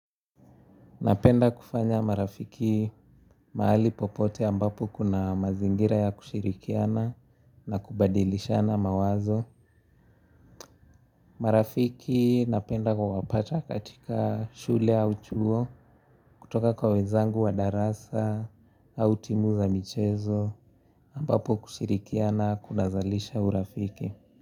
Napenda kufanya marafiki mahali popote ambapo kuna mazingira ya kushirikiana na kubadilishana mawazo. Marafiki napenda kuwapata katika shule au chuo kutoka kwa wenzangu wa darasa au timu za michezo ambapo kushirikiana kunazalisha urafiki.